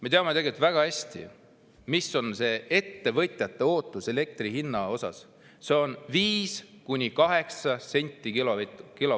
Me teame väga hästi, mis on ettevõtjate ootus elektri hinna suhtes: see on 5–8 senti kilovati eest.